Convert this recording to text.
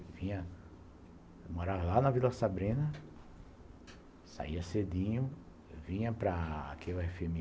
Eu morava lá na Vila Sabrina, saía cedinho, vinha para aquele efe